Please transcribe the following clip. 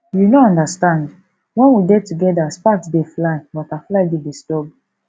you no understand wen we dey together sparks dey fly butterfly dey disturb